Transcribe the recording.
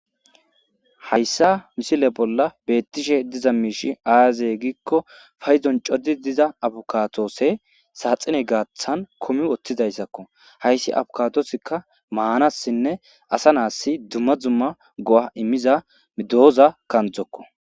Hayssa misile bolla beetishe dizayssi diza miishshi aaze giikko paydon coridi diza abukaadose saaxine gaaththan kumi uttidayssako. Hayssi abukadoziakka maanasinne asa naas dumma dumma go'a immiza dooza kanddokko